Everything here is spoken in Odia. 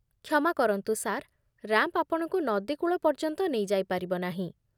କ୍ଷମା କରନ୍ତୁ ସାର୍। ରାମ୍ପ ଆପଣଙ୍କୁ ନଦୀ କୂଳ ପର୍ଯ୍ୟନ୍ତ ନେଇଯାଇ ପାରିବ ନାହିଁ।